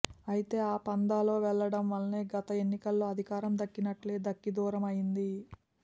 అయితే ఆ పంథాలో వెళ్లడం వల్లే గత ఎన్నికల్లో అధికారం దక్కినట్టే దక్కి దూరం అయ్యింది